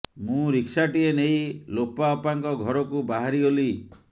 ମୁଁ ରିକ୍ସାଟିଏ ନେଇ ଲୋପା ଅପାଙ୍କ ଘରକୁ ବାହାରି ଗଲି